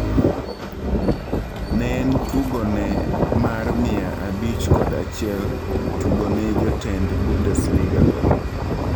Ne en tugo ne mar mia abich kod achiel tugone jotend Bundesliga go.